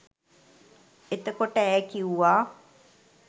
එතකොට ඈ කිව්වා